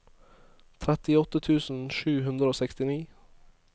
trettiåtte tusen sju hundre og sekstini